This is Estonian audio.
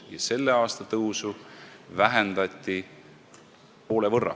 Ja selle aasta tõusu vähendati poole võrra.